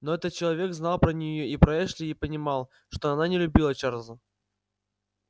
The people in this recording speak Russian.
но этот человек знал про неё и про эшли и понимал что она не любила чарлза